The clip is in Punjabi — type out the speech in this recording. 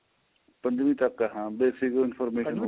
ਪੰਜਵੀਂ ਤੱਕ ਆਂ basic information